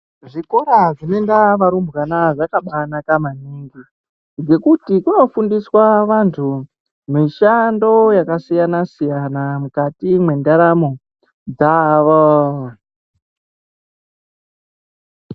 Zvikora zvinoenda varumbwana zvakabanaka maningi, ngekuti kunofundiswa vantu mishando yakasiyana-siyana mukati mwendaramo dzavo.